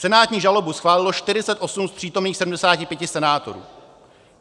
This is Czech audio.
Senátní žalobu schválilo 48 z přítomných 75 senátorů.